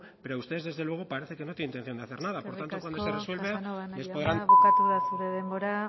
pero ustedes desde luego parece que no tiene intención de hacer nada por tanto cuando se resuelve les podrán casanova jauna bukatu da zure denbora